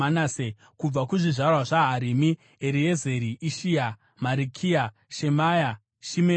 Kubva kuzvizvarwa zvaHarimu: Eriezeri, Ishiya, Marikiya, Shemaya, Shimeoni,